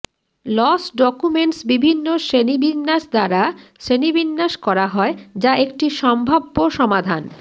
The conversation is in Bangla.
লস ডকুমেন্টস বিভিন্ন শ্রেণীবিন্যাস দ্বারা শ্রেণীবিন্যাস করা হয় যা একটি সম্ভাব্য সমাধান